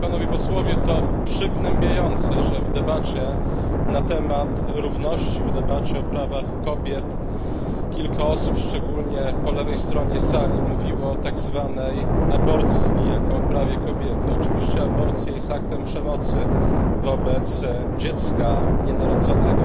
To przygnębiające, że w debacie na temat równości, w debacie o prawach kobiet kilka osób, szczególnie po lewej stronie sali, mówiło o tak zwanej aborcji jako o prawie kobiety. Oczywiście aborcja jest aktem przemocy, w pierwszym rzędzie wobec dziecka nienarodzonego,